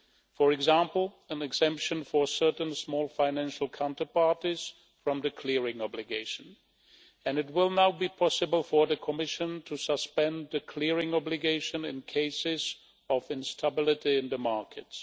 For example, an exemption for certain small financial counterparties from the clearing obligation, and it will now be possible for the Commission to suspend the clearing obligation in cases of instability in the markets.